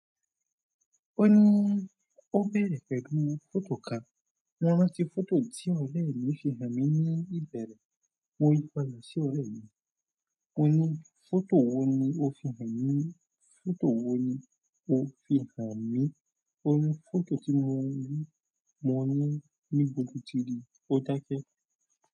O bere pẹ̀lú foto kan, mo rántí foto ti ọ̀rẹ́ mi fi hanmi. Ó ní fọ́tò wò ní o fi hàn mí? Fọ́tò wò ní o fi hàn mí? Ó ní fọ́tò tí mo ń rí, mo ní níbo lotí rí i, ó dákẹ́.